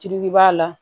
Tilegu b'a la